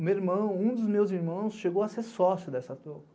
Um dos meus irmãos chegou a ser sócio dessa toco.